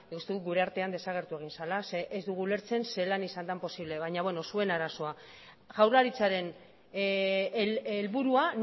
uste dut gure artean desagertu egin zela zeren ez dugu ulertzen zelan izan den posible baina beno zuen arazoa jaurlaritzaren helburua